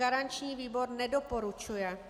Garanční výbor nedoporučuje.